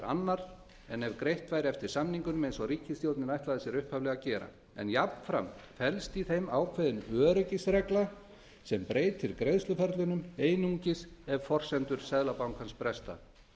annar en ef greitt væri eftir samningunum eins og ríkisstjórnin ætlaði sér upphaflega að gera en jafnframt felst í þeim ákveðin öryggisregla sem breytir greiðsluferlunum einungis ef forsendur seðlabankans bresta